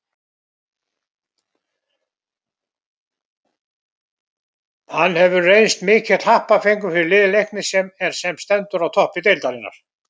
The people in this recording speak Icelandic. Hann hefur reynst mikill happafengur fyrir lið Leiknis sem er sem stendur á toppi deildarinnar.